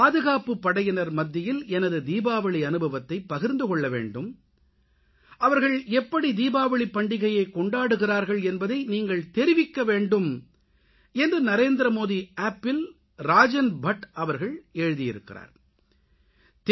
பாதுகாப்புப்படையினர் மத்தியில் எனது தீபாவளி அனுபவத்தைப் பகிர்ந்து கொள்ளவேண்டும் அவர்கள் எப்படி தீபாவளிப்பண்டிகையைக் கொண்டாடுகிறார்கள் என்பதை நீங்கள் தெரிவிக்கவேண்டும் என்று NarendramodiAppல் ராஜன் பட் அவர்கள் எழுதியிருக்கிறார்